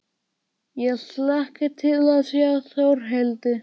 Ég hlakka til að sjá Þórhildi.